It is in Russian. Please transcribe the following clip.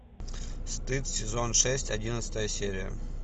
стыд сезон шесть одиннадцатая серия